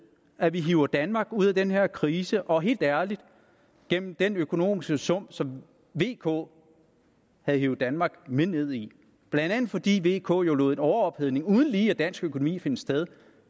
at vi hiver danmark ud af den her krise og ud af helt ærligt den den økonomiske sump som vk havde hevet danmark med ned i blandt andet fordi vk jo lod en overophedning uden lige af dansk økonomi finde sted